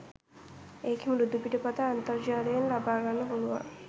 එකේ මෘදුපිටපත අන්තර්ජාලයෙන් ලබා ගන්න පුලුවන්